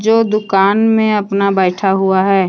वो दुकान में अपना बैठा हुआ है।